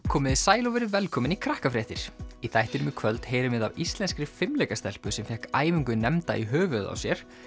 komiði sæl og verið velkomin í Krakkafréttir í þættinum í kvöld heyrum við af íslenskri fimleikastelpu sem fékk æfingu nefnda í höfuðið á sér